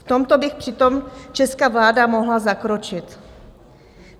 V tomto by přitom česká vláda mohla zakročit.